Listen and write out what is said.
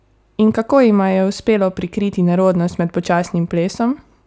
In kako jima je uspelo prikriti nerodnost med počasnim plesom?